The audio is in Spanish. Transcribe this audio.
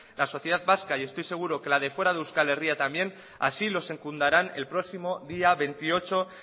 la sociedad vasca estoy seguro que la de fuera de euskal herria también así lo secundarán el próximo día veintiocho